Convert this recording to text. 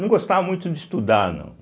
Não gostava muito de estudar, não.